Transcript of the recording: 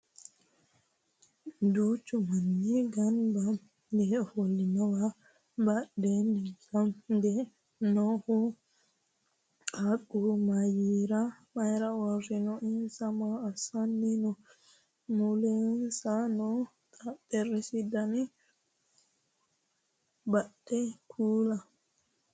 duuchu manni ganba yee ofollinowa badhensaani hige noohu qaaqqu mayeera uurrino? insa maa assanni no? mulensa noo xexxerisi dana badde kuli?